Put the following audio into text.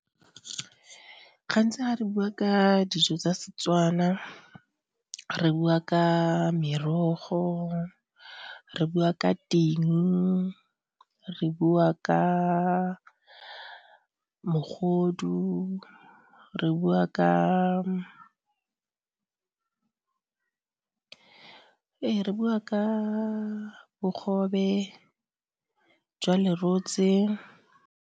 Gantsi ga re bua ka dijo tsa Setswana re bua ka merogo, re bua ka ting, re bua ka mogodu re bua ka bogobe jwa lerotse.